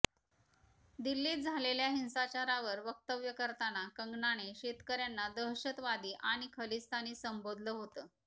दिल्लीत झालेल्या हिंसाचारावर वक्तव्य करताना कंगनाने शेतकऱ्यांना दहशतवादी आणि खलिस्तानी संबोधलं होतं